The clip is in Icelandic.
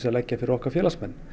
að leggja fyrir okkar félagsmenn